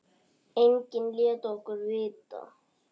Enginn lét okkur vita.